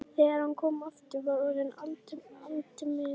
Þegar hann kom aftur var orðið aldimmt.